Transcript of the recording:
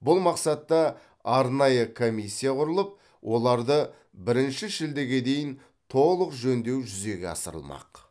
бұл мақсатта арнайы комиссия құрылып оларды бірінші шілдеге дейін толық жөндеу жүзеге асырылмақ